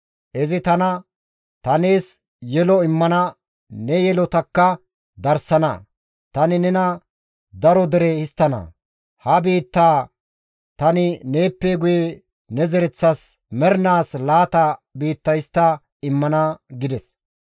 Izi tana, ‹Ta nees yelo immana ne yelotakka darsana; tani nena daro dere histtana. Ha biittaa tani neeppe guye ne zereththas mernaas laata biitta histta immana› gides.